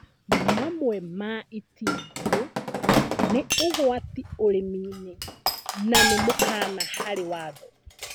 Mamwe ma itindiĩ nĩ ũgwati ũrĩmi-inĩ nanĩ mũkana harĩ watho